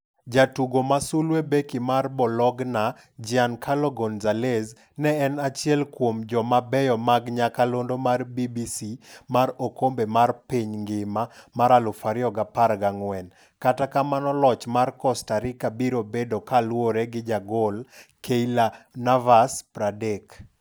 Jatugo masulwe: Beki mar Bologna, Giancarlo Gonzalez, ne en achiel kuom jo mabeyo mag nyakalondo mar BBC mar okombe mar piny ngima mar 2014 kata kamano loch mar Costa Rica biro bedo kaluore gi jagolKeylor Navas, 30.